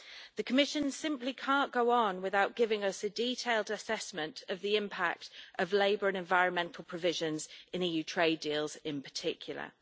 The Commission simply can't go on without giving us a detailed assessment of the impact of labour and environmental provisions in EU trade deals in particular.